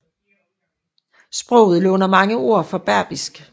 Sproget låner mange ord fra berbisk